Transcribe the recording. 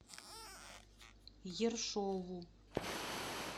ершову